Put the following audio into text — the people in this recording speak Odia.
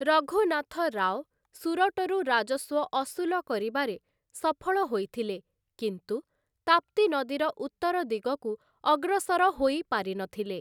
ରଘୁନାଥ ରାଓ ସୁରଟରୁ ରାଜସ୍ୱ ଅସୁଲ କରିବାରେ ସଫଳ ହୋଇଥିଲେ, କିନ୍ତୁ ତାପ୍ତି ନଦୀର ଉତ୍ତର ଦିଗକୁ ଅଗ୍ରସର ହୋଇ ପାରିନଥିଲେ ।